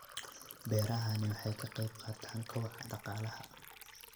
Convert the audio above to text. Beerahani waxa ay ka qayb qaataan kobaca dhaqaalaha.